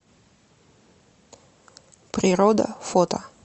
природа фото